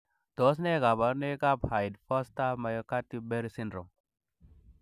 Tos nee koborunoikab Hyde Forster Mccarthy Berry syndrome?